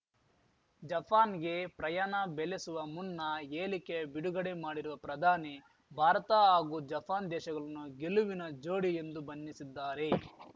ಜಪಾನ್‌ಗೆ ಪ್ರಯಾಣ ಬೆಲೆಸುವ ಮುನ್ನ ಹೇಲಿಕೆ ಬಿಡುಗಡೆ ಮಾಡಿರುವ ಪ್ರಧಾನಿ ಭಾರತ ಹಾಗೂ ಜಪಾನ್‌ ದೇಶಗಲನ್ನು ಗೆಲುವಿನ ಜೋಡಿ ಎಂದು ಬಣ್ಣಿಸಿದ್ದಾರೆ